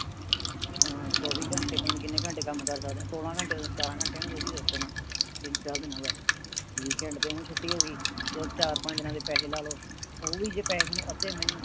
ਅਹ ਚੋਵੀ ਘੰਟੇ ਪਤਾ ਨੀ ਕਿੰਨੇ ਘੰਟੇ ਕੰਮ ਕਰ ਸਕਦੇ ਆ। ਸੋਲਹ ਘੰਟੇ ਸਤਾਰਹ ਘੰਟੇ ਜੋ ਵੀ system ਆ ਤਿੰਨ ਚਾਰ ਦਿਨਾਂ ਦਾ। weekend ਤੇ ਊਂ ਛੁੱਟੀ ਹੋਗੀ ਤੇ ਚਾਰ ਪੰਜ ਦਿਨਾਂ ਦੇ ਪੈਹੇ ਲਾ ਲਓ ਓ ਵੀ ਜੇ ਪੈਹੇ ਤੁਹਾਨੂੰ ਅੱਧੇ ਮਿਲਣ